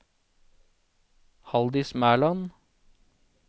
Haldis Mæland